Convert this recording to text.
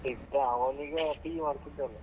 ಇದ್ದ, ಅವನೀಗ PU ಮಡ್ತಿದಾನೆ?